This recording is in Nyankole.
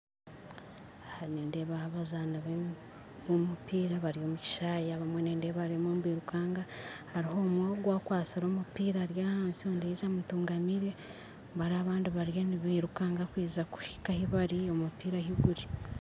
Aha nindeebaho abazaani b'omumpiira bari omu kishaayi abamwe nindeeba barimu nibirukanga hariho omwe ogwe akwastire omumpiira ari ahansi ondiijo amutugamire bari abandi bariyo nibirukaanga kuhinka omumpiira ahu guri